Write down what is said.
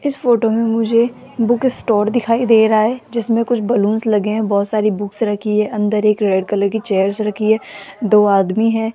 इस फोटो में मुझे बुक स्टोर दिखाई दे रहा है जिसमें कुछ बलूंस लगे हैं बहुत सारी बुक्स रखी है अंदर एक रेड कलर की चेयर्स रखी है दो आदमी है।